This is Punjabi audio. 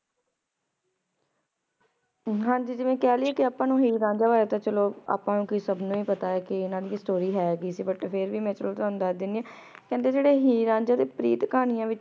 ਹਾਂਜੀ ਜਿਵੇਂ ਕਹ ਲਿਯੇ ਕੇ ਆਪਾਂ ਨੂ ਹੀਰ ਰਾਂਝਾ ਬਾਰੇ ਤਾਂ ਚਲੋ ਆਪਾਂ ਨੂ ਕੋਈ ਸਬ ਨੂ ਈ ਪਤਾ ਆਯ ਕੇ ਇਨਾਂ ਦੀ story ਹ ਸੀ but ਚਲੋ ਫੇਰ ਵੀ ਮੈਂ ਤਾਣੁ ਦਸਦੀ ਆਂ ਕੇਹ੍ਨ੍ਡੇ ਜੇਰੇ ਹੀਰ ਰਾਂਝੇ ਦੀ ਪ੍ਰੀਤ ਕਹਾਨਿਯਾਂ ਵਿਚੋ ਏਇਕ ਰਾਵਾਯਿਤੀ ਆਯ